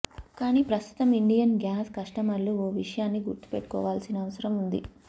కానీ ప్రస్తుతం Indian gas కస్టమర్లు ఓ విషయాన్ని గుర్తు పెట్టుకోవాల్సిన అవసరం ఉంది